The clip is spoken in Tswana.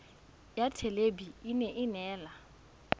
ya thelebi ene e neela